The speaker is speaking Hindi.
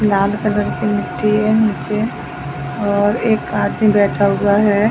लाल कलर की मिट्टी है नीचे और एक आदमी बैठा हुआ हैं ।